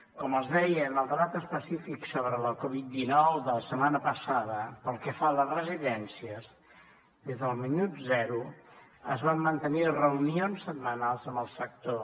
com els deia en el debat específic sobre la covid dinou de la setmana passada pel que fa a les residències des del minut zero es van mantenir reunions setmanals amb el sector